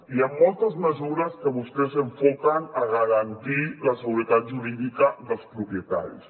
hi han moltes mesures que vostès enfoquen a garantir la seguretat jurídica dels propietaris